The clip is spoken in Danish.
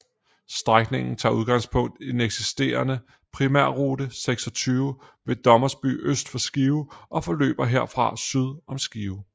Strækningen tager udgangspunkt i den eksisterende Primærrute 26 ved Dommerby øst for Skive og forløber herfra syd om Skive